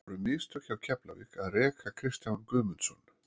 Voru mistök hjá Keflavík að reka Kristján Guðmundsson?